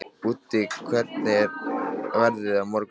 Úddi, hvernig er veðrið á morgun?